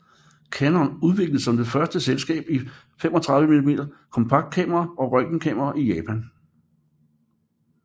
Canon udviklede som det første selskab enkle 35 mm kompaktkameraer og røntgenkameraer i Japan